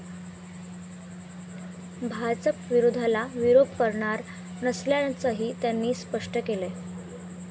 भाजप विरोधाला विरोध करणार नसल्याचंही त्यांनी स्पष्ट केलंय.